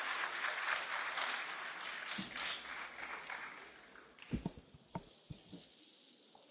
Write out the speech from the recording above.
Monsieur le Président, vous êtes le bienvenu au Parlement européen.